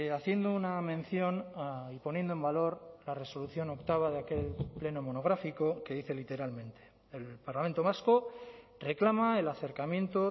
haciendo una mención y poniendo en valor la resolución octava de aquel pleno monográfico que dice literalmente el parlamento vasco reclama el acercamiento